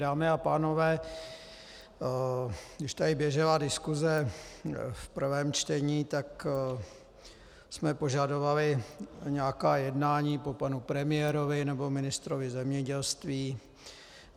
Dámy a pánové, když tady běžela diskuse v prvém čtení, tak jsme požadovali nějaká jednání po panu premiérovi nebo ministrovi zemědělství.